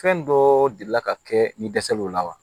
Fɛn dɔ delila ka kɛ ni dɛsɛ lola wa